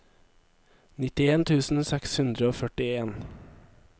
nittien tusen seks hundre og førtien